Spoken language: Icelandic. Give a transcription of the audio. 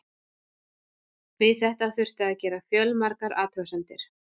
Við þetta þurfti að gera fjölmargar athugasemdir.